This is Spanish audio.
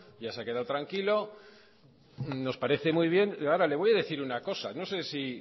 ya se ha quedado tranquilo nos parece muy bien ahora le voy a decir una cosa no sé si